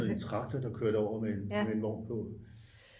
traktor der kørte over med en vogn på